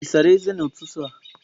Ị sara ezé n'ụtụtụ a?